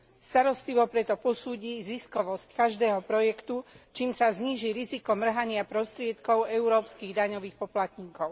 Starostlivo preto posúdi ziskovosť každého projektu, čím sa zníži riziko mrhania prostriedkov európskych daňových poplatníkov.